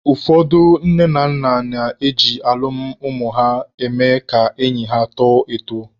Ụfọdụ nne na nna na-eji alụmalụ ụmụ ha eme ka enyi ha tọọ atọ.